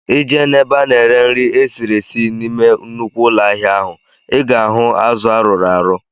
Ị jee n'ebe a ná-ere nri esiri esi n'ime nnukwu ụlọ ahịa ahụ, I ga ahụ azụ arụrụ arụ